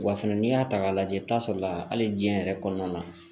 Wa fɛnɛ n'i y'a ta k'a lajɛ i bi t'a sɔrɔ hali diɲɛ yɛrɛ kɔnɔna na